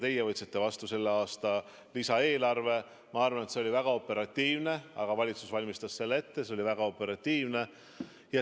Teie võtsite vastu selle aasta lisaeelarve, ma arvan, et see oli väga operatiivne, aga valitsus valmistas selle ette, ka see oli väga operatiivne.